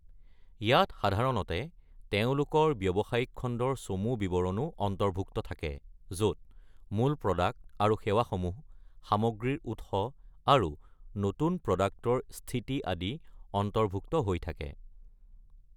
ইয়াত সাধাৰণতে তেওঁলোকৰ ব্যৱসায়িক খণ্ডৰ চমু বিৱৰণো অন্তৰ্ভুক্ত থাকে, য'ত মূল প্ৰ'ডাক্ট আৰু সেৱাসমূহ, সামগ্ৰীৰ উৎস, আৰু নতুন প্ৰ'ডাক্টৰ স্থিতি আদি অন্তৰ্ভুক্ত হৈ থাকে।